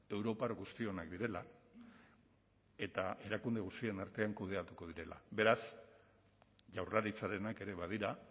europar guztionak direla eta erakunde guztien artean kudeatuko direla beraz jaurlaritzarenak ere badira